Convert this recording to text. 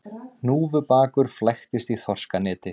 Hnúfubakur flæktist í þorskaneti